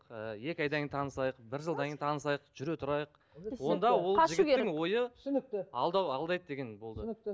ы екі айдан кейін танысайық бір жылдан кейін танысайық жүре тұрайық онда ол ой түсінікті алдау алдайды деген болды түсінікті